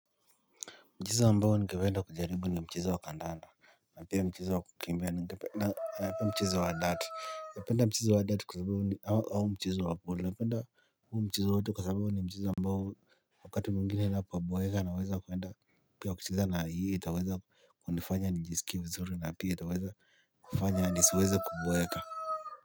Mchezo ambao ningependa kujaribu ni mchezo wa kandanda na pia mchezo wa kukimbia na mchezo wa dart. Napenda mchezo wa dart kwa sababu ni au mchezo wa polo. Na penda huu mchezo wote kwa sababu ni mchezo ambao wakati mwingine napoboeka naweza kuwenda pia kucheza na hii itaweza kunifanya nijisikie vizuri na pia itaweza kufanya nisiweze kuboeka.